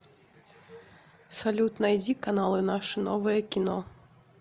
салют найди каналы наше новое кино